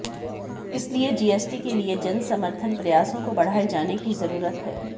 इसलिए जीएसटी के लिए जन समर्थन प्रयासों को बढ़ाए जाने की जरूरत है